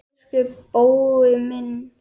Elsku Bói minn.